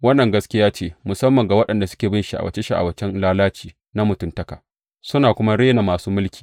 Wannan gaskiya ce musamman ga waɗanda suke bin sha’awace sha’awacen lalaci na mutuntaka, suna kuma rena masu mulki.